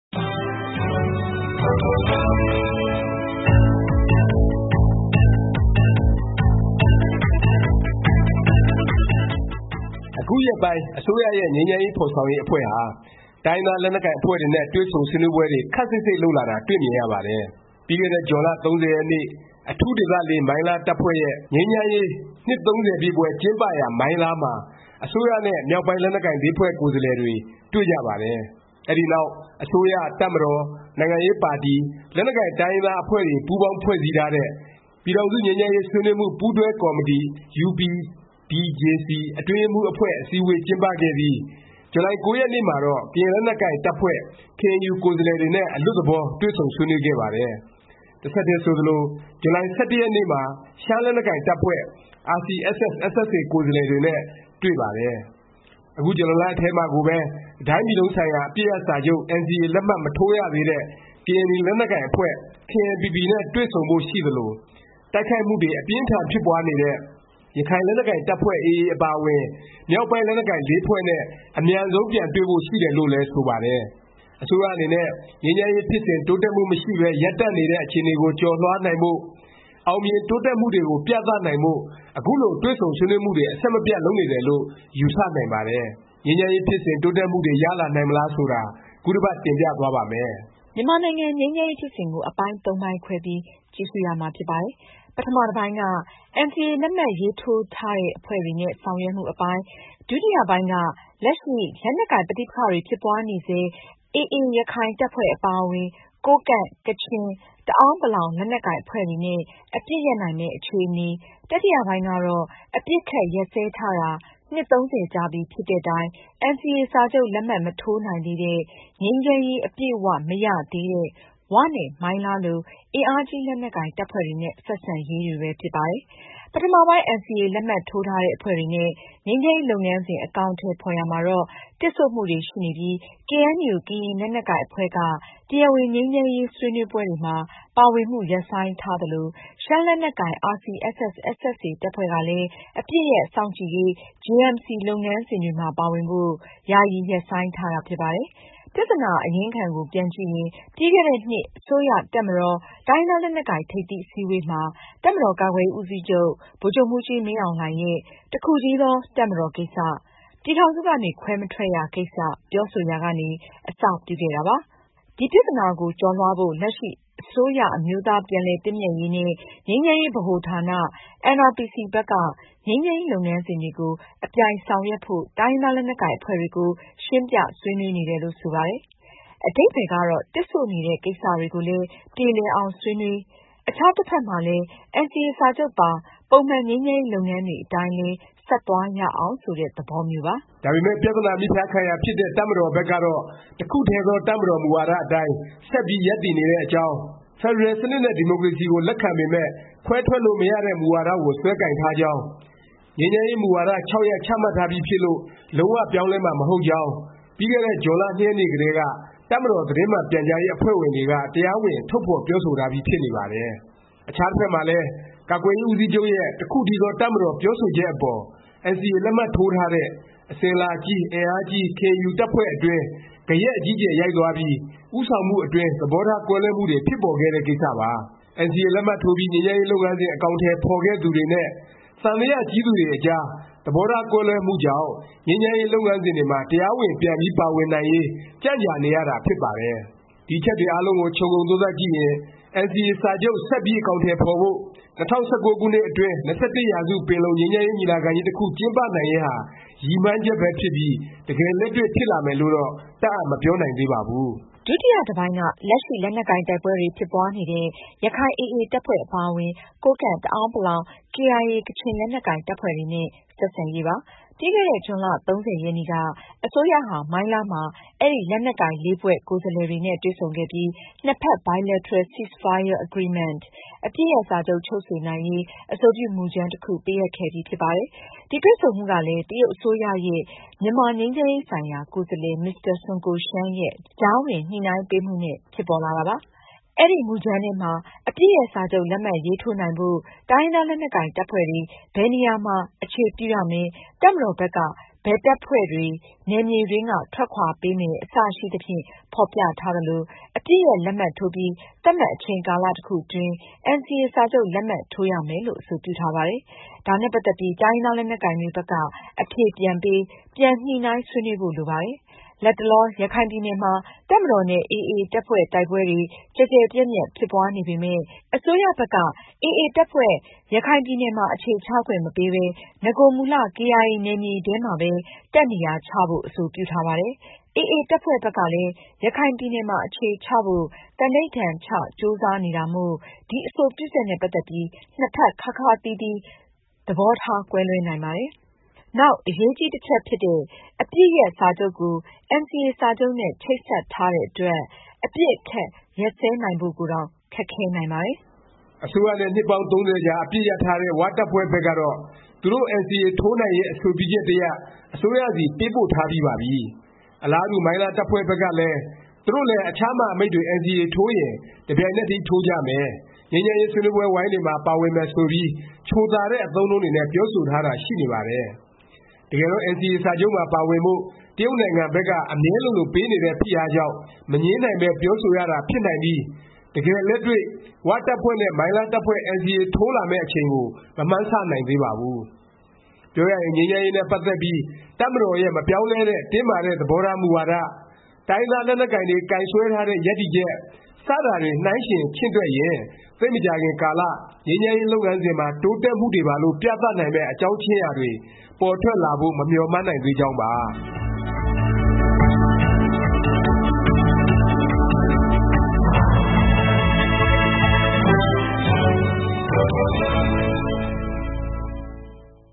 အခုရက်ပိုင်း အစိုးရရဲ့ ငြိမ်းချမ်းရေး ဖော်ဆောင်ရေး အဖွဲ့ဟာ တိုင်းရင်းသား လက်နက်ကိုင် အဖွဲ့တွေနဲ့ တွေ့ဆုံဆွေးနွေးပွဲတွေ ခပ်စိပ်စိပ် လုပ်လာတာ တွေ့မြင်ရပါတယ်။ ပြီးခဲ့တဲ့ ဇွန်လ ၃၀ ရက်နေ့ အထူးဒေသ မိုင်းလား တပ်ဖွဲ့ရဲ့ ငြိမ်းချမ်းရေး နှစ် ပြည့်ပွဲကျင်းပရာ မိုင်းလားမှာ အစိုးရနဲ့ မြောက်ပိုင်း လက်နက်ကိုင် ဖွဲ့ကိုယ်စားလှယ်တွေ တွေ့ကြပါတယ်။ အဲဒီနောက် အစိုးရ၊ တပ်မတော်၊ နိုင်ငံရေးပါတီ၊ လက်နက်ကိုင် တိုင်းရင်းသား အဖွဲ့တွေ ပူးပေါင်း ဖွဲ့စည်းထားတဲ့ ပြည်ထောင်စု ငြိမ်းချမ်းရေး ဆွေးနွေးမှု ပူးတွဲကော်မတီ UPDJC အတွင်းရေးမှူး အဖွဲ့ အစည်းဝေး ကျင်းပခဲ့ပြီး ဇူလိုင် ၉ ရက်နေ့မှာတော့ ကရင်လက်နက်ကိုင် တပ်ဖွဲ့ KNU ကိုယ်စားလှယ်တွေနဲ့ အလွတ်သဘော တွေ့ဆုံဆွေးနွေးခဲ့ပါတယ်။ တဆက်တည်း ဆိုသလို ဇူလိုင် ၁၁ ရက်နေ့မှာ ရှမ်းလက်နက်ကိုင် တပ်ဖွဲ့ RCSS/SSA ကိုယ်စားလှယ်တွေနဲ့ တွေ့ပါတယ်။ အခု ဇူလိုင်လ ထဲမှာကိုပဲ တစ်တိုင်းပြည်လုံးဆိုင်ရာ အပစ်ရပ်စာချုပ် NCA လက်မှတ် မထိုးရသေးတဲ့ ကရင်နီ လက်နက်ကိုင်အဖွဲ့ KNPP နဲ့ တွေ့ဆုံဖို့ ရှိသလို၊ တိုက်ခိုက်မှုတွေ အပြင်းအထန် ဖြစ်ပွားနေတဲ့ ရခိုင်လက်နက်ကိုင် တပ်ဖွဲ့ AA အပါအဝင် မြောက်ပိုင်း လက်နက်ကိုင် ဖွဲ့နဲ့ အမြန်ဆုံး ပြန်တွေ့ဖို့ ရှိတယ်လို့လည်း ဆိုပါတယ်။ အစိုးရအနေနဲ့ ငြိမ်းချမ်းရေး ဖြစ်စဉ် တိုးတက်မှု မရှိပဲ ရပ်တန့်နေတဲ့ အခြေအနေကို ကျော်လွှားနိုင်ဖို့၊ အောင်မြင် တိုးတက်မှုတွေကို ပြသနိုင်ဖို့ အခုလို တွေ့ဆုံဆွေးနွေးမှုတွေ အဆက်မပြတ် လုပ်နေတယ်လို့ ယူဆနိုင်ပါတယ်။ ငြိမ်းချမ်းရေး ဖြစ်စဉ် တိုးတက်မှုတွေ ရလာနိုင်မလား ဆိုတာကို ခုတစ်ပတ် တင်ပြသွားပါ့မယ်။ မြန်မာနိုင်ငံ ငြိမ်းချမ်းရေး ဖြစ်စဉ်ကို အပိုင်းသုံးပိုင်းခွဲပြီး ကြည့်ရှုရမှာ ဖြစ်ပါတယ်။ ပထမ တစ်ပိုင်းက NCA လက်မှတ်ရေးထိုးထားတဲ့ အဖွဲ့တွေနဲ့ ဆောင်ရွက်မှု အပိုင်း၊ ဒုတိယ ပိုင်းက လက်ရှိ လက်နက်ကိုင် ပဋိပက္ခတွေ ဖြစ်ပွားနေဆဲ ရခိုင် AA တပ်ဖွဲ့အပါအဝင်၊ ကိုးကန့်၊ ကချင်၊ တအဲာန်းပလောင် လက်နက်ကိုင် အဖွဲ့တွေနဲ့ အပစ်ရပ်နိုင်မယ့် အခြေအနေ၊ တတိယပိုင်းကတော့ အပစ်အခတ် ရပ်စဲထားတာ နှစ် ၃၀ ကြာပြီဖြစ်တဲ့တိုင် NCA စာချုပ် လက်မှတ် မထိုးနိုင်သေးတဲ့၊ ငြိမ်းချမ်းရေး အပြည့်အ၀ မရသေးတဲ့ ၀ နဲ့ မိုင်းလား လို အင်အားကြီး လက်နက်ကိုင် တပ်ဖွဲ့တွေနဲ့ ဆက်ဆံရေး တွေပဲ ဖြစ်ပါတယ်။ ပထမပိုင်း NCA လက်မှတ်ထိုးထားတဲ့ အဖွဲ့တွေနဲ့ ငြိမ်းချမ်းရေး လုပ်ငန်းစဉ် အကောင်အထည် ဖော်ရာမှာတော့ တစ်ဆို့မှုတွေ ရှိနေပြီး ကေအဲန်ယူ ကရင်လက်နက်ကိုင် အဖွဲ့က တရားဝင် ငြိမ်းချမ်းရေး ဆွေးနွေးပွဲတွေမှာ ပါဝင်မှု ရပ်ဆိုင်းထားသလို၊ ရှမ်းလက်နက်ကိုင် RCSS/SSA တပ်ဖွဲ့ကလည်း အပစ်ရပ်စောင့်ကြည့်ရေး JMC လုပ်ငန်းစဉ်တွေမှာ ပါဝင်ဖို့ ယာယီ ရပ်ဆိုင်းထားတာ ဖြစ်ပါတယ်။ ပြသနာ အရင်းခံကို ပြန်ကြည့်ရင် ပြီးခဲ့တဲ့နှစ် အစိုးရ၊ တပ်မတော်၊ တိုင်းရင်းသား လက်နက်ကိုင် ထိပ်သီး အစည်းအဝေးမှာ တပ်မတော် ကာကွယ်ရေး ဦးစီးချုပ် ဗိုလ်ချုပ်မှူးကြီး မင်းအောင်လှိုင်ရဲ့ တစ်ခုတည်းသော တပ်မတော်ကိစ္စ၊ ပြည်ထောင်စုကနေ ခွဲမထွက်ရ ကိစ္စ ပြောဆိုရာကနေ အစပြုခဲ့တာ ဖြစ်ပါတယ်။ ဒီပြသနာကို ကျော်လွှားဖို့ လက်ရှိ အစိုးရ အမျိုးသား ပြန်လည်သင့်မြတ်ရေးနဲ့ ငြိမ်းချမ်းရေး ဗဟိုဌာန NRPC ဘက်က ငြိမ်းချမ်းရေး လုပ်ငန်းစဉ်တွေကို အပြိုင် ဆောင်ရွက်ဖို့ တိုင်းရင်းသား လက်နက်ကိုင် အဖွဲ့တွေကို ရှင်းပြ ဆွေးနွေးနေတယ်လို့ ဆိုပါတယ်။ အဓိပ္ပါယ်ကတော့ တစ်ဆို့နေတဲ့ ကိစ္စတွေကိုလည်း ပြေလည်အောင် ဆွေးနွေး၊ အခြား တစ်ဖက်မှာလည်း NCA စာချုပ်ပါ ပုံမှန် ငြိမ်းချမ်းရေး လုပ်ငန်းတွေ အတိုင်းလည်း ဆက်သွားရအောင် ဆိုတဲ့ သဘောမျိုးပါ။ ဒါပေမယ့် ပြသနာ မြစ်ဖျားခံရာ ဖြစ်တဲ့ တပ်မတော်ဘက်ကတော့ တစ်ခုတည်းသော တပ်မတော် မူဝါဒ အတိုင်း ဆက်ပြီး ရပ်တည်နေတဲ့အကြောင်း၊ ဖက်ဒရယ်စနစ်နဲ့ ဒီမိုကရေစီကို လက်ခံပေမယ့် ခွဲထွက်လို့ မရတဲ့ မူဝါဒကို စွဲကိုင်ထားကြောင်း၊ ငြိမ်းချမ်းရေး မူဝါဒ ၆ ရပ် ချမှတ်ထားပြီးဖြစ်လို့ လုံး၀ ပြောင်းလဲမှာ မဟုတ်ကြောင်း ပြီးခဲ့တဲ့ ဇွန်လ ၂ ရက်နေ့ကတည်းက တပ်မတော် သတင်းမှန် ပြန်ကြားရေး အဖွဲ့ဝင်တွေက တရားဝင် ထုတ်ဖော်ပြောဆိုထားပြီး ဖြစ်နေပါတယ်။ အခြားတစ်ဖက်မှာလည်း ကာကွယ်ရေး ဦးစီးချုပ်ရဲ့ တစ်ခုတည်းသော တပ်မတော် ပြောဆိုချက်အပေါ် NCA လက်မှတ်ထိုးထားတဲ့ အစဉ်အလာကြီး၊ အင်အားကြီး KNU တပ်ဖွဲ့အတွင်း ဂယက်အကြီးအကျယ် ရိုက်သွားပြီး ဦးဆောင်မှု အတွင်း သဘောထား ကွဲလွဲမှုတွေ ဖြစ်ပေါ်ခဲ့တဲ့ ကိစ္စပါ။ NCA လက်မှတ်ထိုးပြီး ငြိမ်းချမ်းရေး လုပ်ငန်းစဉ် အကောင်အထည် ဖော်ခဲ့သူတွေနဲ့ သံသယ ကြီးသူတွေအကြား သဘောထားကွဲလွဲမှုကြောင့် ငြိမ်းချမ်းရေး လုပ်ငန်းစဉ်တွေမှာ တရားဝင် ပြန်ပြီး ပါဝင်နိုင်ရေး ကြံ့ကြာနေရတာ ဖြစ်ပါတယ်။ ဒီအချက်တွေ အားလုံးကို ခြုံငုံသုံးသပ်ကြည့်ရင် NCA စာချုပ် ဆက်ပြီး အကောင်အထည် ဖော်ဖို့၊ ၂၀၁၉ ခုနှစ်အတွင်း ၂၁ ရာစု ပင်လုံငြိမ်းချမ်းရေး ညီလာခံကြီး တစ်ခု ကျင်းပနိုင်ရေးဟာ ရည်မှန်းချက်ပဲ ဖြစ်ပြီး တကယ်လက်တွေ့ ဖြစ်လာမယ်လို့တော့ တပ်အပ် မပြောနိုင်သေးပါဘူး။ ဒုတိယ တစ်ပိုင်းက လက်ရှိ လက်နက်ကိုင် တိုက်ပွဲတွေ ဖြစ်ပွားနေတဲ့ ရခိုင် AA တပ်ဖွဲ့ အပါအဝင် ကိုးကန့်၊ တအာဲန်း ပလောင်၊ KIA ကချင် လက်နက်ကိုင် တပ်ဖွဲ့တွေနဲ့ ဆက်ဆံရေးပါ။ ပြီးခဲ့တဲ့ ဇွန်လ ၃၀ ရက်နေ့က အစိုးရဟာ မိုင်းလားမှာ အဲဒီ လက်နက်ကိုင် ဖွဲ့ ကိုယ်စားလှယ်တွေနဲ့ တွေ့ဆုံခဲ့ပြီး၊ နှစ်ဖက် Bilateral Ceasefire Agreement အပစ်ရပ်စာချုပ် ချုပ်ဆိုနိုင်ရေး အဆိုပြု မူကြမ်း တစ်ခု ပေးအပ်ခဲ့ပြီ ဖြစ်ပါတယ်။ ဒီ တွေ့ဆုံမှုကလည်း တရုတ်အစိုးရရဲ့ မြန်မာငြိမ်းချမ်းရေး ဆိုင်ရာ ကိုယ်စားလှယ် မစ္စတာ ဆွန်းကိုရှန်းရဲ့ ကြားဝင်ညှိနှိုင်းပေးမှုနဲ့ ဖြစ်ပေါ်လာတာပါ။ အဲဒီ မူကြမ်းထဲမှာ အပစ်ရပ် စာချုပ် လက်မှတ်ရေးထိုးနိုင်ဖို့ တိုင်းရင်းသား လက်နက်ကိုင် တပ်ဖွဲ့တွေ ဘယ်နေရာမှာ အခြေပြုရမယ်၊ တပ်မတော်ဘက်က ဘယ်တပ်ဖွဲ့တွေ နယ်မြေတွင်းက ထွက်ခွာပေးမယ် အစရှိသဖြင့် ဖော်ပြထားသလို၊ အပစ်ရပ်လက်မှတ်ထိုးပြီး သတ်မှတ် အချိန်ကာလ တစ်ခုအတွင်း NCA စာချုပ် လက်မှတ်ထိုးရမယ်လို့ အဆိုပြုထားပါတယ်။ ဒါနဲ့ ပတ်သက်ပြီး တိုင်းရင်းသားလက်နက်ကိုင်တွေ ဘက်က အဖြေပြန်ပေး၊ ပြန် ညှိနှိုင်းဆွေးနွေးဖို့ လိုပါတယ်။ လတ်တလော ရခိုင်ပြည်နယ်မှာ တပ်မတော်နဲ့ AA တပ်ဖွဲ့ တိုက်ပွဲတွေ ကျယ်ကျယ်ပြန့်ပြန့် ဖြစ်ပွားနေပေမယ့် အစိုးရဘက်က AA တပ်ဖွဲ့ ရခိုင်ပြည်နယ်မှာ အခြေချခွင့်မပေးပဲ၊ နဂိုမူလ KIA နယ်မြေထဲမှာပဲ တပ်နေရာချဖို့ အဆိုပြုထားပါတယ်။ AA တပ်ဖွဲ့ဘက်ကလည်း ရခိုင်ပြည်နယ်မှာ အခြေချဖို့ သန္ဓိဌာန်ချ ကြိုးစားနေတာမို့ ဒီအဆိုပြုချက်နဲ့ ပတ်သက်ပြီး နှစ်ဖက် ခါးခါးသီးသီး သဘောထား ကွဲလွဲနိုင်ပါတယ်။ နောက်အရေးကြီး တစ်ချက်ဖြစ်တဲ့ အပစ်ရပ်စာချုပ် ကို NCA စာချုပ်နဲ့ ချိတ်ဆက်ထားတဲ့ အတွက် အပစ်အခတ် ရပ်စဲနိုင်ဖို့ကိုတောင် ခက်ခဲနိုင်ပါတယ်။ အစိုးရနဲ့ နှစ်ပေါင်း ၃၀ကြာ အပစ်ရပ်ထားတဲ့ ၀ တပ်ဖွဲ့ဘက်ကတော့ သူတို့ NCA ထိုးနိုင်ရေး အဆိုပြုချက်တစ်ရပ် အစိုးရဆီ ပေးပို့ထားပြီးပါပြီ။ အလားတူ မိုင်းလား တပ်ဖွဲ့ဘက်က သူတို့လည်း အခြား မဟာမိတ်တွေ NCA ထိုးရင် တစ်ပြိုင်နက်တည်း ထိုးကြမယ်၊ ငြိမ်းချမ်းရေး ဆွေးနွေးပွဲဝိုင်းတွေမှာ ပါဝင်မယ် ဆိုပြီး ချိုသာတဲ့ အသုံးအနှုန်းတွေနဲ့ ပြောဆိုထားတာ ရှိနေပါတယ်။ တကယ်တော့ NCA စာချုပ်မှာ ပါဝင်ဖို့ တရုတ်နိုင်ငံဘက်က အမြဲလိုလို ပေးနေတဲ့ ဖိအားကြောင့် မငြင်းနိုင်ပဲ ပြောဆိုရတာ ဖြစ်နိုင်ပြီး တကယ်လက်တွေ့ ဝတပ်ဖွဲ့နဲ့ မိုင်းလား တပ်ဖွဲ့ NCA ထိုးလာမယ့် အချိန်ကို မမှန်းဆနိုင်သေးပါဘူး။ ပြောရရင် ငြိမ်းချမ်းရေး နဲ့ ပတ်သက်ပြီး တပ်မတော်ရဲ့ မပြောင်းလဲတဲ့ တင်းမာတဲ့ သဘောထား မူဝါဒ၊ တိုင်းရင်းသား လက်နက်ကိုင်တွေ ကိုင်စွဲထားတဲ့ ရပ်တည်ချက် စတာတွေ နှိုင်းယှဉ် ချင့်တွက်ရင် သိပ်မကြာခင်ကာလ ငြိမ်းချမ်းရေး လုပ်ငန်းစဉ်မှာ တိုးတက်မှုတွေပါလို့ ပြသနိုင်မယ့် အကြောင်းခြင်းရာတွေ ပေါ်ထွက်လာဖို့ မမျှော်မှန်းနိုင်သေးကြောင်းပါ။